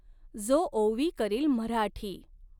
जो ओंवी करील मऱ्हाटी।